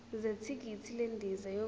zethikithi lendiza yokuya